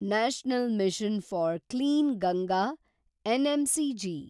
national Mission for Clean Ganga (NMCG)